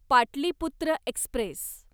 Pataliputra Express